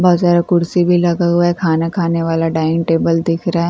बहोत सारा कुर्सी भी लगा हुआ है खाना खाने वाला डाइनिंग टेबल दिख रहा है।